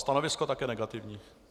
Stanovisko také negativní.